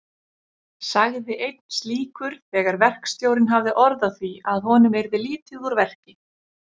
sagði einn slíkur þegar verkstjórinn hafði orð á því að honum yrði lítið úr verki.